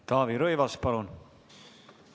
Taavi Rõivas, palun!